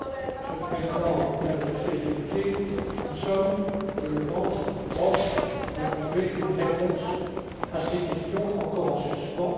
Monsieur le Président, Mesdames et Messieurs les députés, nous sommes je le pense près de trouver une réponse à ces questions encore en suspens.